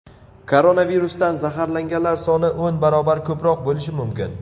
Koronavirusdan zararlanganlar soni o‘n barobar ko‘proq bo‘lishi mumkin.